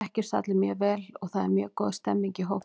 Við þekkjumst allir mjög vel og það er mjög góð stemning í hópnum.